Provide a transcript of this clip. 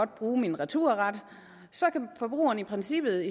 bruge min returret så kan forbrugeren i princippet